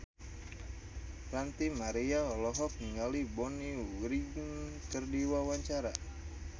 Ranty Maria olohok ningali Bonnie Wright keur diwawancara